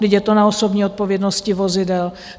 Vždyť je to na osobní odpovědnosti vozidel?